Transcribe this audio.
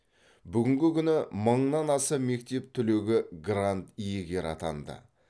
бүгінгі күні мыңнан аса мектеп түлегі грант иегері атанды